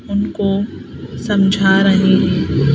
उनको समझा रहे हैं।